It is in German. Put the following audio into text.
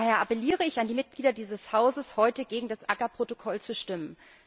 Daher appelliere ich an die Mitglieder dieses Hauses, heute gegen das CAA Protokoll zu stimmen.